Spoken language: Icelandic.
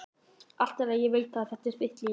Allt í lagi, ég veit, þetta er þitt líf.